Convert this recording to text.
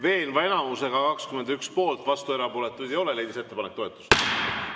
Veenva enamusega, 21 poolt, vastuolijaid ega erapooletuid ei ole, leidis ettepanek toetust.